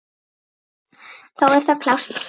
Þá er það klárt.